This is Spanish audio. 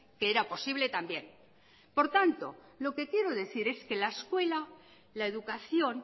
que era posible también por tanto lo que quiero decir es que la escuela la educación